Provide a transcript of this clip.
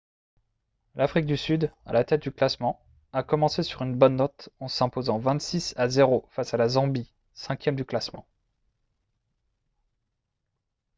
l'afrique du sud à la tête du classement a commencé sur une bonne note en s'imposant 26 à 0 face à la zambie 5e du classement